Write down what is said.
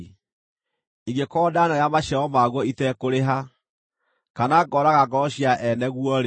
ingĩkorwo ndanarĩa maciaro maguo iteekũrĩha, kana ngoraga ngoro cia ene guo-rĩ,